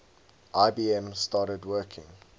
ibm started working